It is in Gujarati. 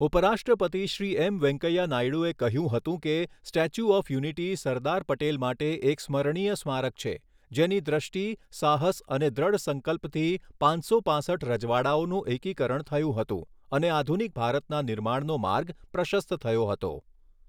ઉપરાષ્ટ્રપતિ શ્રી એમ વેંકૈયા નાયડૂએ કહ્યું હતુ કે, statue of unity Sardar Patel માટે એક સ્મરણીય સ્મારક છે, જેની દ્રષ્ટિ, સાહસ અને દ્રઢ સંકલ્પથી પાંચસો પાંસઠ રજવાડાઓનું એકીકરણ થયું હતું અને આધુનિક ભારતના નિર્માણનો માર્ગ પ્રશસ્ત થયો હતો.